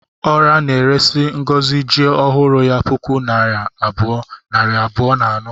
Ora na-eresi Ngozi ji ọhụrụ ya puku naira abụọ, nari abụọ na anọ